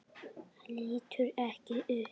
Lítur ekki upp.